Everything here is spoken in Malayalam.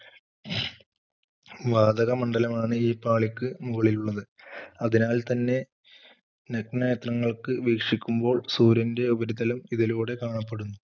വാതകമണ്ഡലം ആണ് ഈ പാളിക്ക് മുകളിലുള്ളത് അതിനാൽ തന്നെ തന്നെ നഗ്നനേത്രങ്ങൾക്ക് വീക്ഷിക്കുമ്പോൾ സൂര്യൻറെ ഉപരിതലം ഇതിലൂടെ കാണപ്പെടുന്നു.